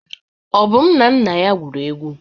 Obum na nna ya gwuru egwu.